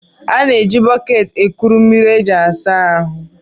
A na-eji bọket kuru mmiri e ji asa ahụ